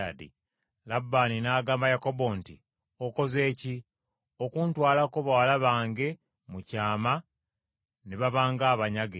Labbaani n’agamba Yakobo nti, “Okoze ki, okuntwalako bawala bange mu kyama ne babanga abanyage?